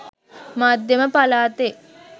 මධ්‍යම පළාතේ